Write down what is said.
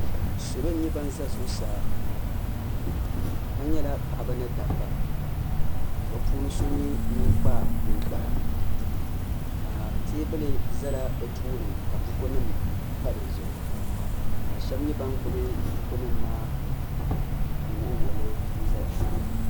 Salo n nyɛ ban za zuɣusaa ka nyɛla paɣaba ni dabba ka bi puuni so nyɛ ŋun kpa ninkpara ka teebuli zala bi tooni ka buku nim pa di zuɣu ka shɛba nyɛ ban gbubi buku nim maa n wuɣi wuɣi li n zaya.